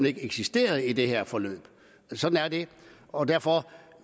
ikke eksisteret i det her forløb sådan er det og derfor